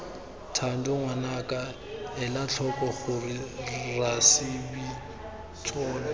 thando ngwanaka elatlhoko gore rasebintsolo